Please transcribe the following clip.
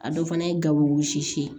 A dɔ fana ye gawuwu wɔsi